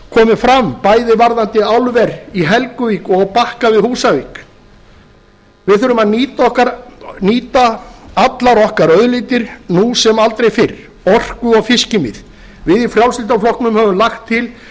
komið fram bæði varðandi álver í helguvík og á bakka við húsavík við þurfum að nýta allar okkar auðlindir nú sem aldrei fyrr orku og fiskimið við í frjálslynda flokknum höfum lagt til